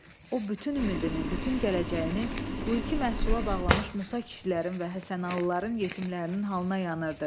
O bütün ümidini, bütün gələcəyini bu ilki məhsula bağlamış Musa kişilərin və Həsənalıların yetimlərinin halına yanırdı.